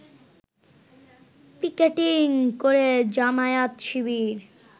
picketing করে জামায়াত শিবির